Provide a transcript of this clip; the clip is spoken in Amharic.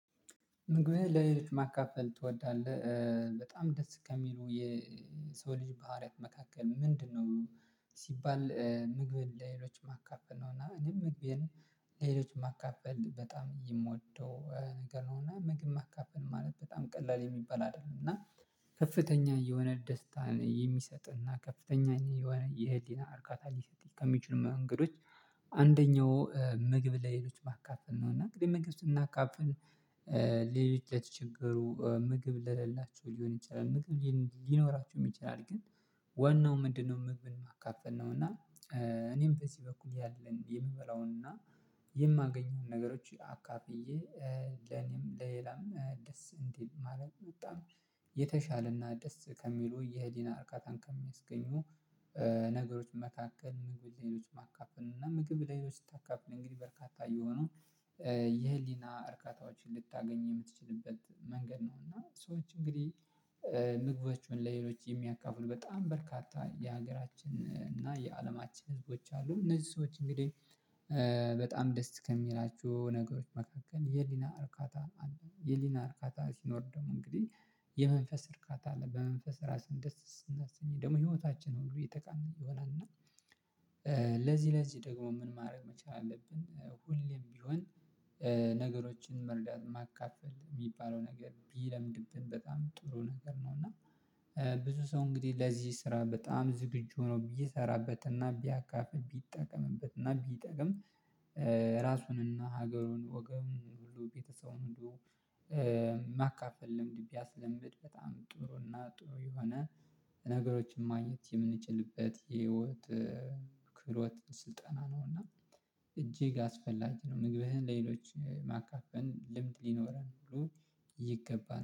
ምግብህ ለሌሎች ማካፈል ትወዳለህ? በጣም ደስ ከሚሉ የሰው ልጅ ባህሪያት መካከል ምንድነው ሲባል ምግብን ለሌሎች ማካፈል ነው እና እኔም ምግብን ለሌሎች ማካፈል በጣም የምወደው ነገር ነው እና ምግብ ማካፈል ማለት በጣም ቀላል የሚባል አይደለም እና የሆነ ደስታን የሚሰጥና ከፍተኛ የሆነ የህሊና እርካታ ሊሰጥ ከሚችሉ መንገዶች አንደኛው ምግብ ለሌሎች ማካፈል ነው እና እንግዲህ ምግብ ስናካፍል ሌሎች ለችግሩ ምግብ ለሌላቸው ሊሆን ይችላል ምግብ ሊኖራችሁ ይችላል ግን ወን ነው ምንድነው ምግብን ማካፈል ነው እና እኔም በዚህ በኩል ያለን የምበላውን እና የማገኘውን ነገሮች አካፍዬ ለኔም ለሌላም ደስ እንዲል ማለት ነው በጣም የተሻለና ደስ ከሚሉ የህሊና እርካታን ከሚያስገኙ ነገሮች መካከል ምግብ ላይሆኑንና እና ምግብ ሌሎች ስታካፍል እንግዲህ በርካታ የሆነው የህሊና እርካታዎችን ልታገኝ የምትችልበት መንገድ ነው እና ሰዎች እንግዲህ ምግቦችን ለሌሎች የሚያካፍሉ በጣም በርካታ የሀገራችን እና የአለማችን ህዝቦች አሉ እነዚህ ሰዎች እንግዲህ በጣም ደስ ከሚላችሁ ነገሮች መካከል የኅሊና እርካታ አለ የኅሊና እርካታ ሲኖር ደግሞ እንግዲህ የመንፈስ እርካታ አለ በመንፈስ ራስህን ደስ ስናሰኝ ደግሞ ህይወታችን ሁሉ እየተቀናኘ ይሆናል እና ለዚህ ለዚህ ምን ማድረግ መቻል አለብን ሁሌም ቢሆን ነገሮችን መርዳት ማካፈል የሚባለው ነገር ቢለምድብን በጣም ጥሩ ነገር ነው እና ብዙ ሰው እንግዲህ ለዚህ ስራ በጣም ዝግጁ ነው ቢሠራበትና ቢያካፍል ቢጠቀምበትና ቢጠቀም ራሱንና ሀገሩን ወገሩን ሁሉ ቤተሰቡን ሁሉ ማካፈል ልምድ ቢያስለምድ በጣም ጥሩና ጥሩ የሆነ ነገሮችን ማግኘት የምንችልበት የህይወት ክህሎት ስልጠና ነው እና እጅግ ጋር አስፈላጊ ነው ምግብህን ለሌሎች ማካፈል ልምድ ሊኖረን ሁሉ ይገባል